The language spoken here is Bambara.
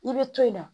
I bɛ to yen nɔ